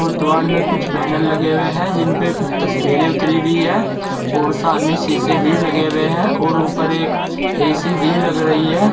और दीवाल में कुछ बैनर लगे हुए हैं जिन पर कुछ तस्वीरें उतारी हुई हैं और सामने शीशे भी लगे हुए हैं और एक ए_सी भी लग रही है।